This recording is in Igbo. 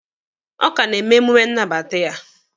Ọ ka na-eme emume nnabata ya